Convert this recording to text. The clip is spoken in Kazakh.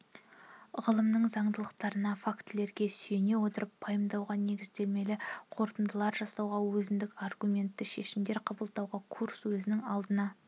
ғылымның заңдылықтарына фактілерге сүйене отырып пайымдауға негіздемелі қорытындылар жасауға өзіндік аргументті шешімдер қабылдауға курс өзінің алдына